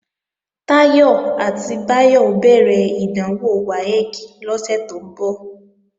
Táyọ̀ àti Báyọ̀ ó bẹ̀rẹ̀ ìdánwò WAEC lọ́sẹ̀ tó ń bọ̀